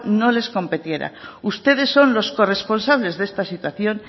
no les competiera ustedes son los corresponsables de esta situación